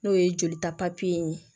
N'o ye jolita ye